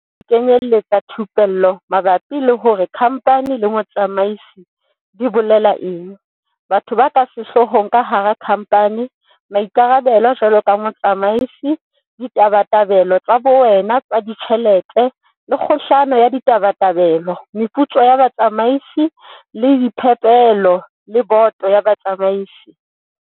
Dimojule di kenyeletsa thupello mabapi le hore kha mphani le motsamaisi di bolela eng, batho ba ka sehloohong ka hara khamphani, maikarabelo jwaloka motsamaisi, ditabatabelo tsa bowena tsa ditjhelete le kgohlano ya ditabatabelo, meputso ya batsamaisi le diphepelo le boto ya batsamaisi.